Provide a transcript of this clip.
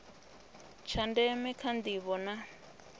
tsha ndeme kha ndivho na